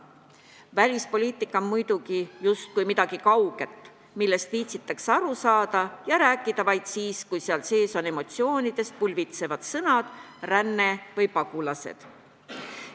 Välispoliitika on muidugi justkui midagi kauget, millest viitsitakse aru saada ja rääkida vaid siis, kui seal kasutatakse emotsioonidest pulbitsevaid sõnu "ränne" või "pagulased".